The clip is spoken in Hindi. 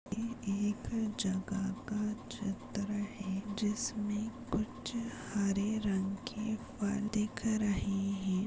ये एक जगह का चित्र है जिसमें कुछ हरे रंग के फल दिख रहे हैं।